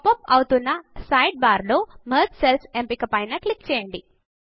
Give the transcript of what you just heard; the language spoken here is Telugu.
పాప్ అప్ అవుతున్న సైడ్ బార్ లో మెర్జ్ సెల్స్ ఎంపిక పైన క్లిక్ చేయండి